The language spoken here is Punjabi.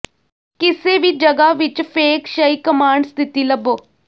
ਕਿਸੇ ਵੀ ਜਗ੍ਹਾ ਵਿੱਚ ਫੇਂਗ ਸ਼ਈ ਕਮਾਂਡ ਸਥਿਤੀ ਲੱਭੋ